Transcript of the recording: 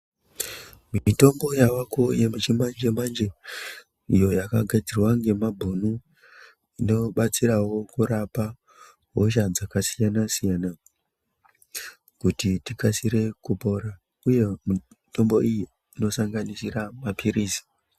Mitombo yavako yechimanje manje iyo yakagadzirwa ngemabhunu inobatsirawo kurapa hosha dzakasiyana siyana kuti tikasire kupora uye mitombo iyi inosanganisira mapirizi.